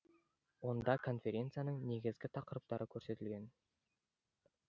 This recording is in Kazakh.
онда конференцияның негізгі тақырыптары көрсетіген